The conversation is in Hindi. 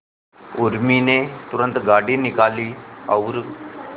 उर्मी ने तुरंत गाड़ी निकाली और